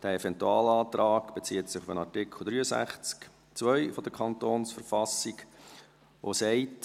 Der Eventualantrag gründet auf dem Artikel 63 Absatz 2 der Verfassung des Kantons Bern (KV) und lautet: «[...